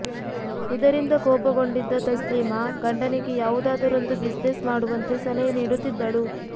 ಇದರಿಂದ ಕೋಪಗೊಂಡಿದ್ದ ತಸ್ಲೀಮಾ ಗಂಡನಿಗೆ ಯಾವುದಾದರೊಂದು ಬ್ಯುಸಿನೆಸ್ ಮಾಡುವಂತೆ ಸಲಹೆ ನೀಡುತ್ತಿದ್ದಳು